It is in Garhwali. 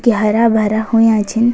क्या हर्या भरा हुंया छिन।